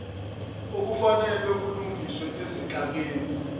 obufanele bulungiswe ezinhlakeni